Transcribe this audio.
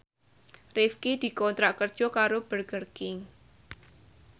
Rifqi dikontrak kerja karo Burger King